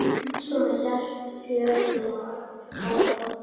Og svona hélt fjörið áfram.